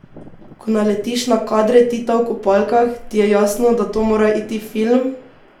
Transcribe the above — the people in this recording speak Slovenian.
Ko naletiš na kadre Tita v kopalkah, ti je jasno, da to mora iti v film!